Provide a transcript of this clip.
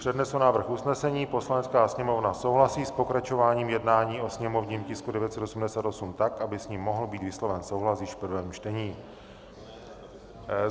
Přednesu návrh usnesení: "Poslanecká sněmovna souhlasí s pokračováním jednání o sněmovním tisku 988 tak, aby s ním mohl být vysloven souhlas již v prvém čtení."